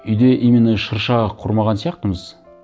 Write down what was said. үйде именно шырша құрмаған сияқтымыз